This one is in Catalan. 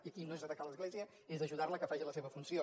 i aquí no és atacar l’església és ajudar la que faci la seva funció